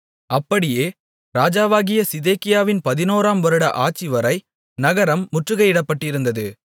அப்படியே ராஜாவாகிய சிதேக்கியாவின் பதினோராம் வருட ஆட்சி வரை நகரம் முற்றுகையிடப்பட்டிருந்தது